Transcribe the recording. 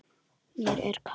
Mér er kalt.